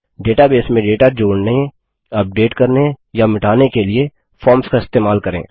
database में data जोड़ने update करने या मिटाने के लिए फॉर्म्स का इस्तेमाल करें